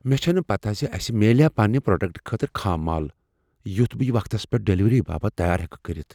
مےٚ چھنہٕ پتہ ز اسہ میلیاہ پنٛنہ پروڑکٹہٕ خٲطرٕ خام مال یُتھ یہ وقتس پیٚٹھ ڈلیوری باپت تیار ہیکو کٔرتھ۔